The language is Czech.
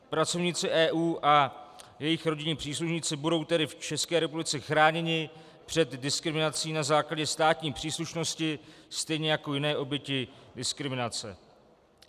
Pracovníci EU a jejich rodinní příslušníci budou tedy v České republice chráněni před diskriminací na základě státní příslušnosti stejně jako jiné oběti diskriminace.